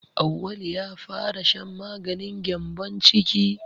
Auwalu ya fara shan maganin gyambon ciki.